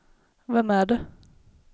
vem är det